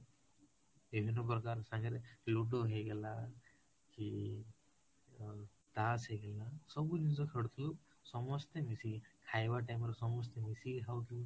ବିଭିର୍ନ ପ୍ରକାର ସାଙ୍ଗରେ ludo ହେଇଗଲା କି ଅ ତାସ ହେଇ ଗଲା ସବୁ ଜିନିଷ ଖେଳୁଥିଲୁ ସମ୍ସସ୍ତେ ମିଶିକି, ଖାଇବା time ରେ ସମସ୍ତେ ମିଶିକି ଖାଉଥିଲୁ